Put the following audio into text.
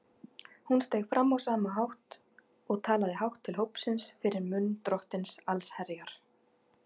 Hún steig fram á sama hátt og talaði hátt til hópsins fyrir munn Drottins allsherjar.